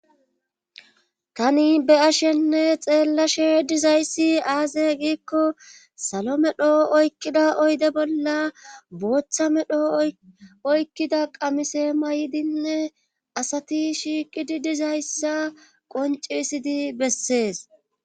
tani be'ashenne xeellashe dizayssi aaze giikko salo medho oykkida oyde bolla booththa medho oykkida qamise may'dinne asati shiiqidi dizayssa qonci isidi bessees